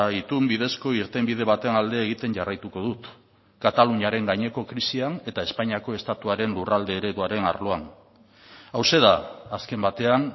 itun bidezko irtenbide baten alde egiten jarraituko dut kataluniaren gaineko krisian eta espainiako estatuaren lurralde ereduaren arloan hauxe da azken batean